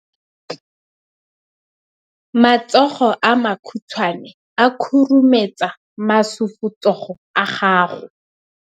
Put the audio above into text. Matsogo a makhutshwane a khurumetsa masufutsogo a gago.